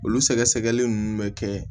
Olu sɛgɛsɛgɛli nunnu bɛ kɛ